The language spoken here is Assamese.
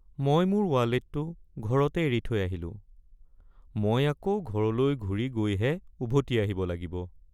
মই মোৰ ৱালেটটো ঘৰতে এৰি থৈ আহিলো। মই আকৌ ঘৰলৈ ঘুৰি গৈহে, উভতি আহিব লাগিব।